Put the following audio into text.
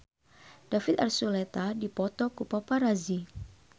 David Archuletta dipoto ku paparazi